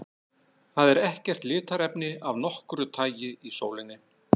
Það er ekkert litarefni af nokkru tagi í sólinni.